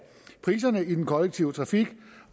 priserne i den kollektive trafik